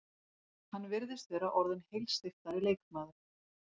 Hann virðist vera orðinn heilsteyptari leikmaður.